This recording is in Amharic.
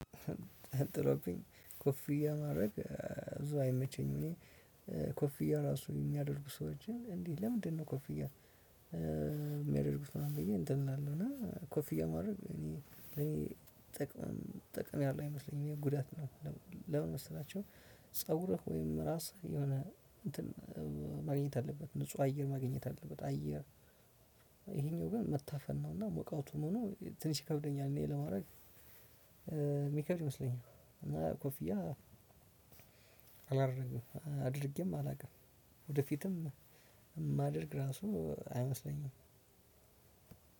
ጥሎብኝ ኮፍያ ማድረግ እ ብዙ አይመቸኝም። እኔ እ ኮፍዬ ራሱ የሚያደርጉ ሰዎችን እንዴ ለምንድነው? ኮፍያ እ የሚያደርጉት ምናምን ብዬ እንትን እላለሁ እና ኮፍያ ማድረግ እኔ ለኔ ጥቅም ጥቅም ያለው አይመስለኝም የጉዳት ነው። ለምን መሰላችሁ? ፀጉረህ ወይም ራስህ የሆነ እንትን እ ማግኘት አለበት ንጹህ አየር ማግኘት አለበት። አየር። ይሄኛው ግን መታፈን ነው እና ሙቀቱም ሆኖ ትንሽ ይከብደኛል። እኔ ለማድረግ የሚከብድ ይመስለኛል። እና ኮፍያ አላደርግም አድርጌም አላውቅም። ወደፊትም የማደርግ ራሱ አይመስለኝም።